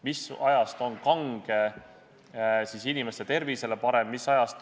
Mis ajast on kange alkohol inimeste tervisele parem?